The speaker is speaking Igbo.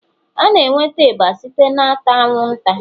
A na-enweta ịba site n'ata anwụnta